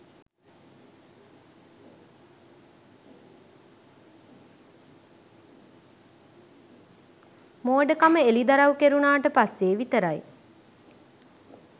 මෝඩකම එළිදරව් කෙරුණට පස්සෙ විතරයි.